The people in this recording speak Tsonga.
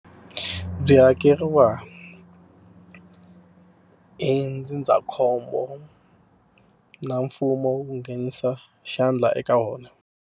Byi hakeriwa hi ndzindzakhombo na mfumo wu nghenisa xandla eka wona.